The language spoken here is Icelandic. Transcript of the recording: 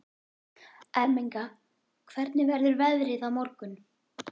Ermenga, hvernig verður veðrið á morgun?